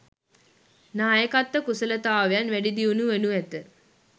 නායකත්ව කුසලතාවයන් වැඩි දියුණු වනු ඇත